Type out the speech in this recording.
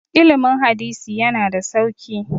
ilimin hadisi yana da sauki